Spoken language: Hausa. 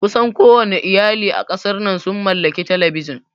Kusan kowanne iyali a ƙasar nan sun mallaki Talabijin